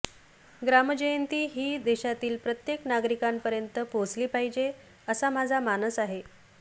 ग्रामजयंती ही देशातील प्रत्येक नागरिकांपर्यंत पोहचली पाहिजे असा माझा मानस आहे